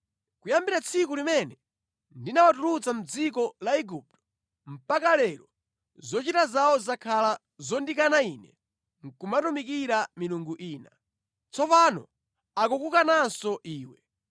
Kuyambira tsiku limene ndinawatulutsa mʼdziko la Igupto mpaka lero zochita zawo zakhala zondikana Ine nʼkumatumikira milungu ina. Tsopano akukukananso iwe.